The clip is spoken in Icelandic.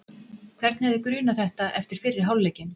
Hvern hefði grunað þetta eftir fyrri hálfleikinn?